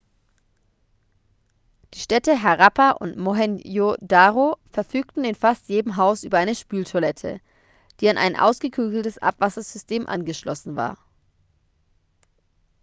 die städte harappa und mohenjo-daro verfügten in fast jedem haus über eine spültoilette die an ein ausgeklügeltes abwassersystem angeschlossen war